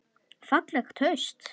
Fallegt haust.